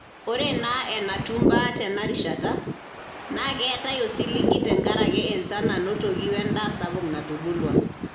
Ore enaa enatiu imbaa tena rishata, naa keetae osiligi tenkaraki enchan nanotoki o endaa sapuk natubulua.